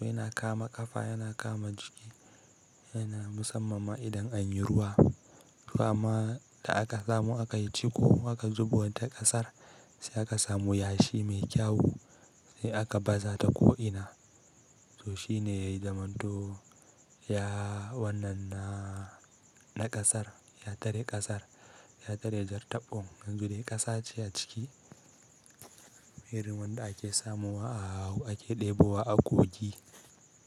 Yana kama ƙafa, yana kama jiki, yana musamman ma idan anyi ruwa. To amma da aka samu aka yi ciko, aka zubo ta ƙasar sai aka samu yashi mai kyau sai aka baza ta ko'ina. To shine yayi zamanto ya wannan na, na ƙasar, ya tare ƙasar, ya tare jar taɓon. Yanzu dai ƙasa ce a ciki. Irin wanda ake samuwa a hau ake ɗebo wa a kogi.